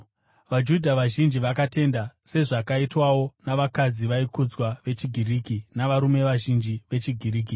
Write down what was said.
VaJudha vazhinji vakatenda, sezvakaitwawo navakadzi vaikudzwa vechiGiriki navarume vazhinji vechiGiriki.